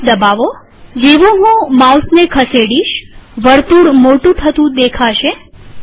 mouse દબાવોજેવું હું માઉસને ખસેડીશવર્તુળ મોટું થતું દેખાશે